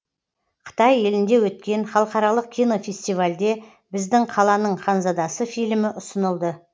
қытай елінде өткен халықаралық кинофестивальде біздің қаланың ханзадасы фильмі ұсынылды